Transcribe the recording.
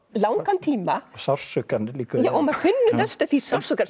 langan tíma og sársaukann líka já maður finnur næstum því sársaukann